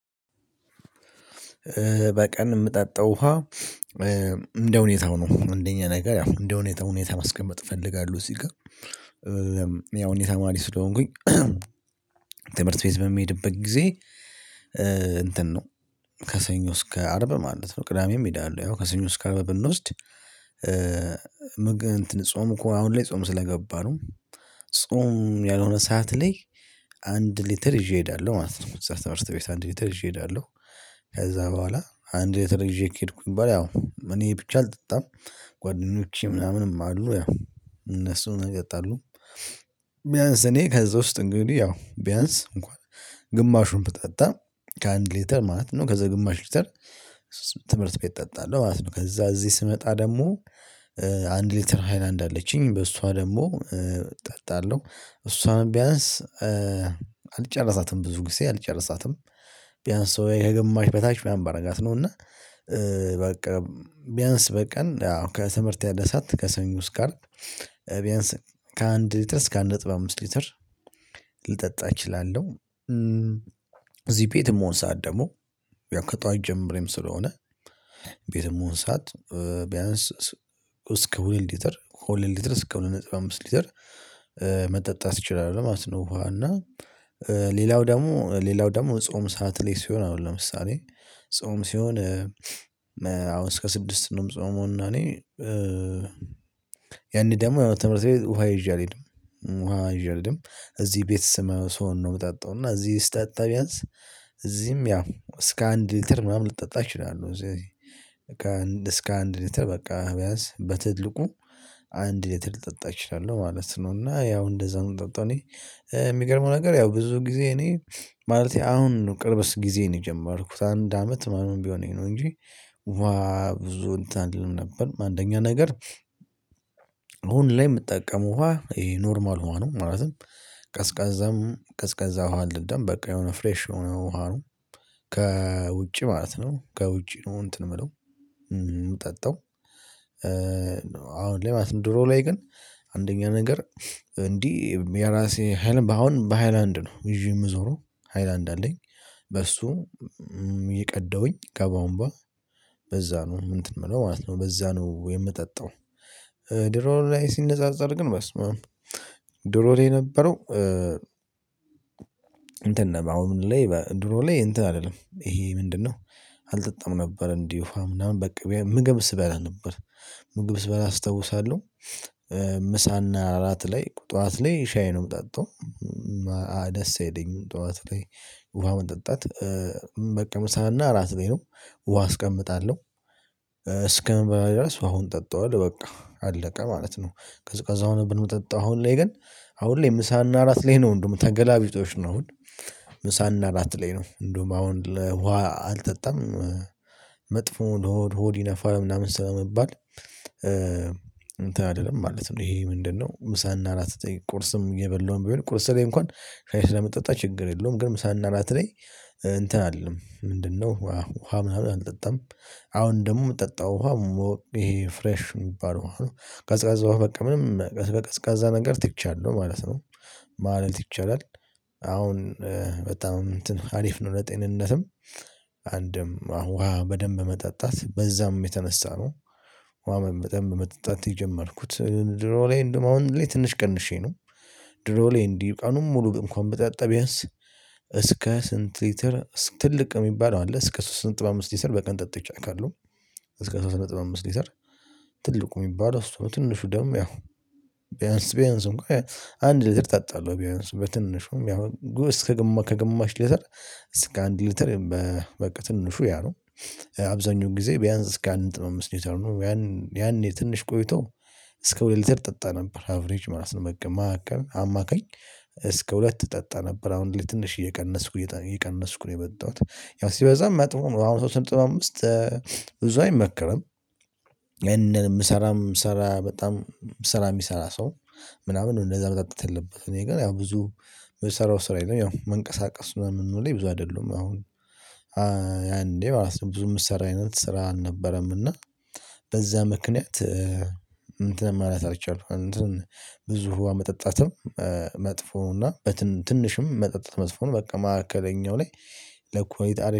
በቀን የምጠጣው ውሃ እንደሁኔታው ነው። አንደኛ ነገር እንደ ሁኔታው ማስቀመጥ እፈልጋለሁ እዚህ ጋር ያው እኔ ተማሪ ስለሆንኩኝ። ትምህርት ቤት በምሄድበት ጊዜ እንትን ነው። ከሰኞ እስከ አርብ ማለት ነው ቅዳሜም ሄዳለሁ ያው ከሰኞ እስከ አርብ ብንወስድ። ጾም እኮ አሁን ላይ ጾም ስለገባ ነው። ጾም ያልሆነ ሰዓት ላይ አንድ ሊትር ይዤ እሄዳለሁ ማለት ነው። እዛ ትምህርት ቤት አንድ ሊትር ይዤ እሄዳለሁ። ከዛ በኋላ አንድ ሊትር ይዤ ከሄድኩኝ በኃላ ያው እኔ ብቻ አልጠጣም። ጓደኞቼ ምናምንም አሉ ያው እነሱን ይጠጣሉ። ቢያንስ እኔ ከዛ ውስጥ እንግዲህ ያው ቢያንስ እንኳን ግማሹን ብጠጣ ከአንድ ሊተር ማለት ነው ከዛ ግማሽ ሊተር ትምህርት ቤት እጠጣለሁ ማለት ነው። ከዛ እዚህ ስመጣ ደግሞ አንድ ሊትር ሃይላንድ አለችኝ በሷ ደግሞ እጠጣለሁ እሷን ቢያንስ አልጨርሳትም ብዙ ጊዜ አልጨርሳትም። ቢያንስ ወይ ከግማሽ በታች ምናምን ባደርጋት ነው። እና በቃ ቢያንስ በቀን አሁን ከትምህርት ያለ ሰዓት ከሰኞ እስከ አርብ ቢያንስ ከአንድ ሊትር እስከ አንድ ነጥብ አምስት ሊትር ልጠጣ እችላለሁ። እዚህ ቤት የምሆን ሰዓት ደግሞ ያው ከጠዋት ጀምሬ ስለሆነ ቤት የምሆን ሰዓት ቢያንስ እስከ ሁለት ሊትር ሁለት ሊትር እስከ ሁለት ነጥብ አምስት ሊትር መጠጣት እችላለሁ ማለት ነው። ውሃ እና ሌላው ደግሞ ሌላው ደግሞ ጾም ሰዓት ላይ ሲሆን አሁን ለምሳሌ ጾም ሲሆን። አሁን እስከ ስድስት ነው የምጾመው እና እኔ ያኔ ደግሞ ያው ትምህርት ቤት ውሃ ይዤ አልሄድም። ውሃ ይዤ አልሄድም እዚህ ቤት ስሆን ነው የምጠጣው እና እዚህ ስጠጣ ቢያንስ እዚህም ያው እስከ አንድ ሊትር ምናምን ልጠጣ እችላለሁ። እዚህ ከ እስከ አንድ ሊትር በቃ ቢያንስ በትልቁ አንድ ሊትር ልጠጣ እችላለሁ ማለት ነው። እና ያው እንደዛ ነው ምጠጣው እኔ የሚገርመው ነገር ያው ብዙ ጊዜ እኔ ማለቴ አሁን ቅርብስ ጊዜ ነው የጀመርኩት አንድ አመት ምናምን ቢሆነኝ ነው። እንጂ ውሃ ብዙ እንትን አልልም ነበር። አንደኛ ነገር አሁን ላይ የምጠቀመው ውሃ ይሄ ኖርማል ውሃ ነው። ማለትም ቀዝቃዛም ቀዝቃዛ ውሃ አልጠጣም በቃ የሆነ ፍሬሽ የሆነ ውሃ ነው። ከውጪ ማለት ነው ከውጪ ነው እንትን የምለው የምጠጣው። አሁን ላይ ድሮ ላይ ግን አንደኛ ነገር እንዲህ የራሴ ሃይላንድ አሁን በሃይላንድ ነው ይዤ የምዞረው ሃይላንድ አለኝ። በሱ እየቀዳውኝ ከቦኦምባ በዛ ነው እንትን የምለው ማለት ነው በዛ ነው የምጠጣው። ድሮ ላይ ሲነጻጸር ግን በስምም ድሮ ላይ የነበረው እንትን ነው አሁን ላይ ድሮ ላይ እንትን አይደለም ይሄ ምንድነው? አልጠጣም ነበር እንዲሁ አምናምን በቃ ምግብ ስበላ ነበር። ምግብ ስበላ አስታውሳለሁ። ምሳና እራት ላይ ጠዋት ላይ ሻይ ነው የምጠጣው። ደስ አይለኝም ጠዋት ላይ። ውሃ መጠጣት በቃ ምሳና ራት ላይ ነው ውሃ አስቀምጣለሁ እስከምበላ ድረስ አሁን ጠጣዋለሁ በቃ አለቀ ማለት ነው። ቀዝቃዛ ሆኖ ግን ብጠጣ አሁን ላይ ግን አሁን ላይ ምሳና እራት ላይ ነው ደግሞ ተገላቢጦሽ ነው አሁን ምሳና ራት ላይ ነው እንደውም አሁን ለውሃ አልጠጣም። መጥፎ ነው ለሆድ ሆድ ይነፋል ምናምን ስለምባል እንትን አይደለም ማለት ነው። ይሄ ምንድነው? ምሳና ራት ተጠይቆ ቁርስም እየበላው ቢሆን ቁርስ ላይ እንኳን ሻይ ስለምጠጣ ችግር የለውም። ግን ምሳና ራት ላይ እንትን አልልም ምንድነው ውሃ ምናምን አልጠጣም። አሁን ደግሞ የምጠጣው ውሃ ይሄ ፍሬሽ የሚባለው አለ ቀዝቃዛ ውሃ በቃ ምንም ቀዝቃዛ ቀዝቃዛ ነገር ትቻለሁ ማለት ነው። ማለት ይቻላል። አሁን በጣም እንትን አሪፍ ነው ለጤንነትም አንድም አሁን ውሃ በደንብ መጠጣት በዛም የተነሳ ነው። ውሃ በደንብ መጠጣት የጀመርኩት ድሮ ላይ እንደውም አሁን ላይ ትንሽ ቀንሼ ነው። ድሮ ላይ እንዲህ ቀኑን ሙሉ እንኳን ብጠጣ ቢያንስ እስከ ስንት ሊትር ትልቅ የሚባለው አለ እስከ ሶስት ነጥብ አምስት ሊተር በቀን ጠጥቻ አውቃለሁ። እስከ ሶስት ነጥብ አምስት ሊተር ትልቁ የሚባለው እሱ ነው። ትንሹ ደግሞ ያው ቢያንስ ቢያንስ እንኳን አንድ ሊትር እጠጣለሁ ቢያንስ በትንሹም ያው እስከ ከግማሽ ሊተር እስከ አንድ ሊትር በቃ ትንሹ ያ ነው። አብዛኛውን ጊዜ ቢያንስ እስከ አንድ ነጥብ አምስት ሊትር ነው። ያን ያኔ ትንሽ ቆይቶ እስከ ሁለት ሊትር ጠጣ ነበር አቬሬጅ ማለት ነው። ማዕከል አማካኝ እስከ ሁለት እጠጣ ነበር አሁን ላይ ትንሽ እየቀነስኩ እየቀነስኩ ነው የመጣሁት። ያው ሲበዛ መጥፎ ነው። አሁን ሶስት ነጥብ አምስት ብዙ አይመክርም። እንደ ምሰራም ስራ በጣም ስራ የሚሰራ ሰው ነው ምናምን እንደዛ መጣጣት ያለበት እኔ ግን ያው ብዙ የምሰራው ስራ የለም። ያው መንቀሳቀስ ምናምኑ ላይ ብዙ አይደሉም። አሁን አንዴ ብዙ የሚሰራ አይነት ስራ አልነበረም። እና በዛ ምክንያት እንትን ማለት አልቻልኩም። እንትን ብዙ ህዋ መጠጣትም መጥፎ ነው። እና ትንሽም መጠጣት መጥፎ ነው። በቃ ማዕከለኛው ላይ ለኮይት አለ